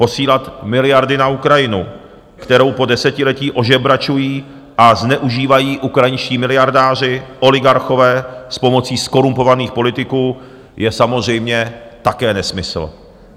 Posílat miliardy na Ukrajinu, kterou po desetiletí ožebračují a zneužívají ukrajinští miliardáři, oligarchové s pomocí zkorumpovaných politiků, je samozřejmě také nesmysl.